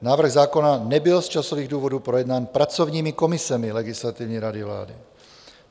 Návrh zákona nebyl z časových důvodů projednán pracovními komisemi Legislativní rady vlády.